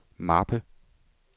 mappe